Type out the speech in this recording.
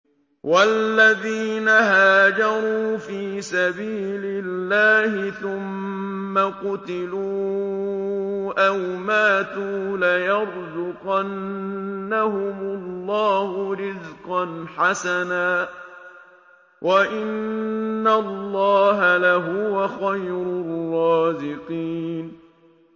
وَالَّذِينَ هَاجَرُوا فِي سَبِيلِ اللَّهِ ثُمَّ قُتِلُوا أَوْ مَاتُوا لَيَرْزُقَنَّهُمُ اللَّهُ رِزْقًا حَسَنًا ۚ وَإِنَّ اللَّهَ لَهُوَ خَيْرُ الرَّازِقِينَ